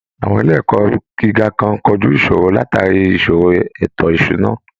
Àwọn ilé ẹ̀kọ́ gíga kan kojú ìṣòro látàrí ìṣòro ètò ìṣúná